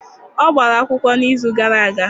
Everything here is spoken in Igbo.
Ọ gbara akwụkwọ n'izu gara aga.